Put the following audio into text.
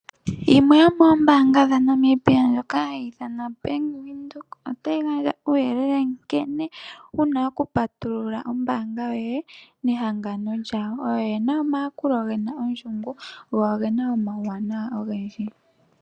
Yimwe yoomoombanga dhaNamibia ndjoka hayi ithanwa Bank Windhoek, otayi gandja uuyelele nkene wuna okupatulula ombaanga yoye nehangano lyawo. Oyo yena omayakulo gena ondjungu, go ogena omauwanawa ogendji.